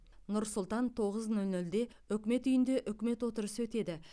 нұр сұлтан тоғыз нөл нөлде үкімет үйінде үкімет отырысы өтеді